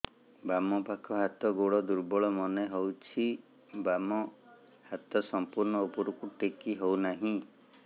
ବାମ ପାଖ ହାତ ଗୋଡ ଦୁର୍ବଳ ମନେ ହଉଛି ବାମ ହାତ ସମ୍ପୂର୍ଣ ଉପରକୁ ଟେକି ହଉ ନାହିଁ